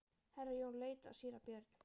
Herra Jón leit á síra Björn.